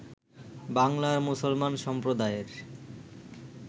বাংলার মুসলমান সম্প্রদায়ের